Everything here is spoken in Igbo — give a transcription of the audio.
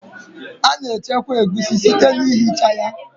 A na-echekwa egusi site na ihicha ya